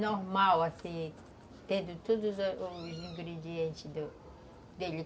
Normal, assim, tendo todos os ingredientes do, dele.